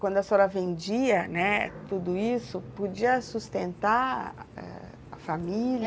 Quando a senhora vendia, né, tudo isso, podia sustentar a família?